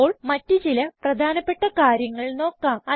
ഇപ്പോൾ മറ്റ് ചില പ്രധാനപ്പെട്ട കാര്യങ്ങൾ നോക്കാം